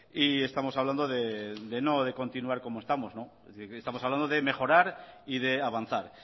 estamos hablando de no continuar como estamos estamos hablando de mejorar y de avanzar